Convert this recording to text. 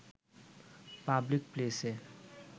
public প্লেসে